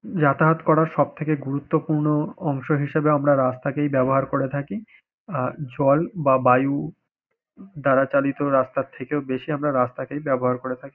যাতায়াত করার সবথেকে গুরুত্বপূর্ণ অংশ হিসাবে আমরা রাস্তাকেই ব্যবহার করে থাকি আ জল বা বায়ু দ্বারা চালিত রাস্তার থেকেও বেশি আমরা রাস্তাকেই ব্যবহার করে থাকি।